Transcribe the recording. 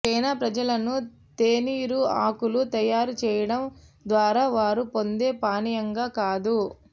China ప్రజలను తేనీరు ఆకులు తయారు చేయడం ద్వారా వారు పొందే పానీయంగా కాదు